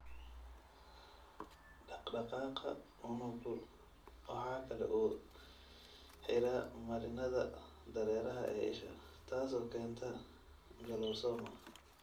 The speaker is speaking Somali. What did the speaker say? Dhaqdhaqaaqa unuggu waxa kale oo uu xidhaa marinnada dareeraha ee isha, taasoo keenta glaucoma.